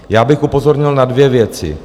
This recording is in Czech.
Já bych upozornil na dvě věci.